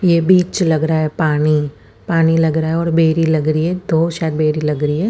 ये बिच लग रहा है पानी पानी लग रहा है और बेरी लग रही है दो शायद बेरी लग रही है।